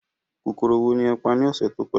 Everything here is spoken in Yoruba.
Kòkòrò wo ni ẹ pa ní ọ̀sẹ̀ tó kọjá?